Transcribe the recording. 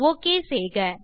okay செய்க